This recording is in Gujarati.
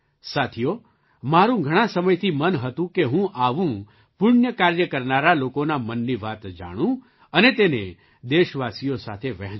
સાથીઓ મારું ઘણા સમયથી મન હતું કે હું આવું પુણ્ય કાર્ય કરનારા લોકોના મનની વાત જાણું અને તેને દેશવાસીઓ સાથે વહેંચું